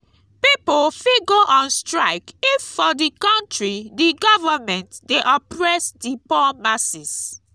pipo fit go on strike if for di country di government de oppress di poor masses